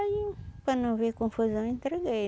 Aí, para não ver confusão, entreguei.